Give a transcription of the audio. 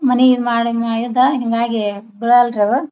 ಮನೆಯ ಮಾಡಿ ಮಾಯದ ಹಿಂಗಾಗಿ ಬಿಲವಲರಿ ಅವ.